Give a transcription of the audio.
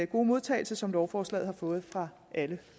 gode modtagelse som lovforslaget har fået fra alle